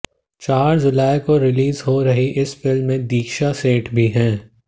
चार जुलाई को रिलीज हो रही इस फिल्म में दीक्षा सेठ भी हैं